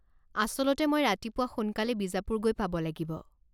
আচলতে মই ৰাতিপুৱা সোনকালে বিজাপুৰ গৈ পাব লাগিব।